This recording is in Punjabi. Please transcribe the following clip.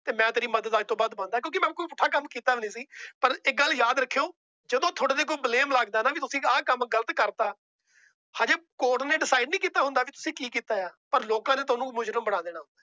ਤੇ ਮੈ ਤੇਰੀ ਮਦਦ ਅੱਜ ਤੋਂ ਬਾਦ ਬੰਦ ਆਂ । ਕਿਉਂਕਿ ਮੈ ਕੋਈ ਪੁੱਠਾ ਕੀਤਾ ਵੀ ਨਹੀ ਸੀ। ਪਰ ਇੱਕ ਗੱਲ ਯਾਦ ਰੱਖਿਓ ਜਦੋ ਤੁਹਾਡੇ ਤੇ ਕੋਈ blame ਲੱਗਦਾ ਆਂ ਨਾ ਵੀ ਤੁਸੀਂ ਆਹ ਕੰਮ ਗ਼ਲਤ ਕਰਤਾ। ਹਜੇ court ਨੇ decide ਨਹੀਂ ਕੀਤਾ ਹੁੰਦਾ ਵੀ ਤੁਸੀਂ ਕੀ ਕੀਤਾ ਹੈ ਪਰ ਲੋਕਾਂ ਨੇ ਤੁਹਾਨੂੰ ਮੁਜਰਿਮ ਬਣਾ ਦੇਣਾ।